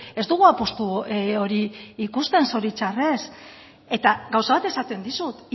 ez dugu apustu hori ikusten zoritxarrez eta gauza bat esaten dizut